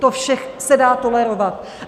To vše se dá tolerovat.